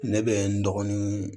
Ne bɛ n dɔgɔnin